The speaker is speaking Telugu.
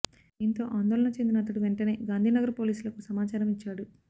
దీంతో ఆందోళన చెందిన అతడు వెంటనే గాంధీనగర్ పోలీసులకు సమాచారం ఇచ్చాడు